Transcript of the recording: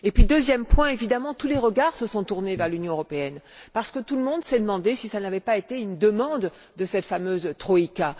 Deuxièmement, tous les regards se sont tournés vers l'Union européenne parce que tout le monde s'est demandé si cela n'avait pas été une demande de cette fameuse troïka.